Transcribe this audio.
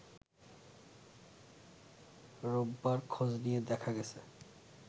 রোববার খোঁজ নিয়ে দেখা গেছে